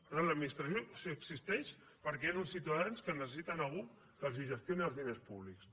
per tant l’administració si existeix és perquè hi han uns ciutadans que necessiten algú que els gestioni els diners públics